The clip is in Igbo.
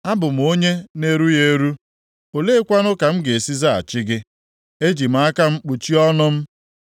“Abụ m onye na-erughị eru. Oleekwanụ ka m ga-esi zaghachi gị? Eji m aka m kpuchie ọnụ m.